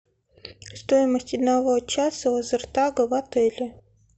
стоимость одного часа лазертага в отеле